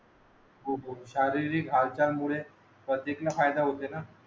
हो हो शारीरिक हालचाल मुळे ला फायदा होते